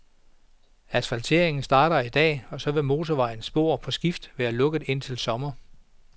Asfalteringen starter i dag , og så vil motorvejens spor på skift være lukket indtil sommer.